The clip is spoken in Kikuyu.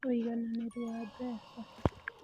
Ũigananĩru wa Mbeca: